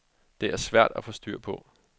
Det er svært at få styr på.